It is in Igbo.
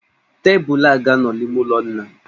Tebụlụ a ga-anọ n'ime ụlọ nna m.